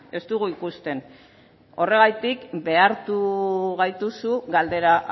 ez dugu ikusten horregatik behartu gaituzu galdera